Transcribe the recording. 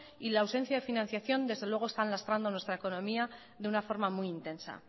y la ausencia de financiación desde luego están lastrando nuestra economía de una forma muy intensa